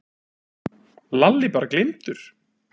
Lalli bara gleymdur.